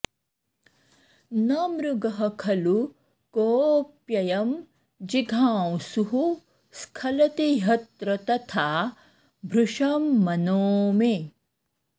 न मृगः खलु कोऽप्ययं जिघांसुः स्खलति ह्यत्र तथा भृशं मनो मे